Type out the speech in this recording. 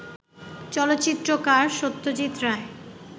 চলচ্চিত্রকার Satyajit Roy